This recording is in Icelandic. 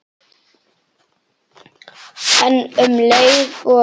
En um leið og